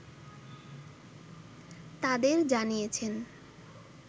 তাদের জানিয়েছেন